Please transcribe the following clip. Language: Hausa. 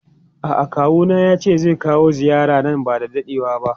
A'a kawuna yace zai kawo ziyara nan bada dadewa ba.